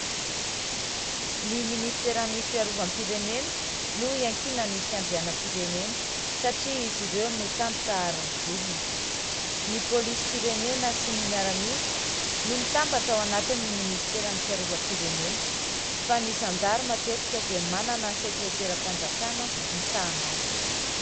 Ny minisiteran'ny fiarovam-pirenena no iankinan'ny fiandrianam-pirenena, satria izy ireo no tandroka aron'ny vozona. Ny polisim-pirenena sy ny miaramila no mitambatra ao anatin'ny ministeran'ny fiarovam-pirenena, fa ny zandary matetika dia manana sekreteram-panjakana misahana azy.